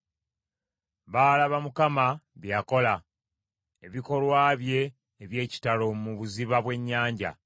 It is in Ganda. Baalaba Mukama bye yakola, ebikolwa bye eby’ekitalo mu buziba bw’ennyanja.